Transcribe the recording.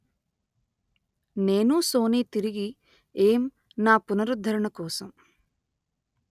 నేను సోనీ తిరిగి ఏం నా పునరుద్ధరణ కోసం